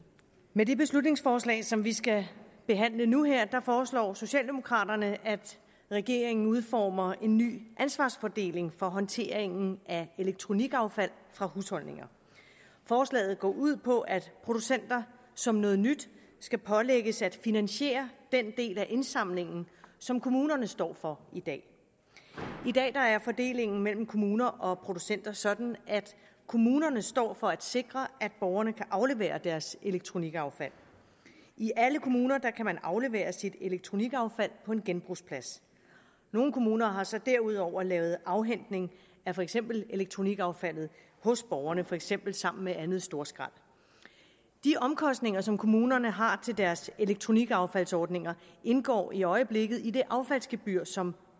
med det beslutningsforslag som vi skal behandle nu her foreslår socialdemokraterne at regeringen udformer en ny ansvarsfordeling for håndteringen af elektronikaffald fra husholdninger forslaget går ud på at producenter som noget nyt skal pålægges at finansiere den del af indsamlingen som kommunerne står for i dag i dag er fordelingen mellem kommuner og producenter sådan at kommunerne står for at sikre at borgerne kan aflevere deres elektronikaffald i alle kommuner kan man aflevere sit elektronikaffald på en genbrugsplads nogle kommuner har så derudover lavet afhentning af for eksempel elektronikaffaldet hos borgerne for eksempel sammen med andet storskrald de omkostninger som kommunerne har til deres elektronikaffaldsordninger indgår i øjeblikket i det affaldsgebyr som